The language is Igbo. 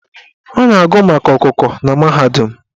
A na-agụ maka okooko na mahadum.